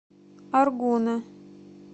аргуна